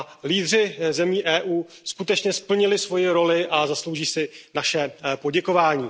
Lídři zemí EU skutečně splnili svoji roli a zaslouží si naše poděkování.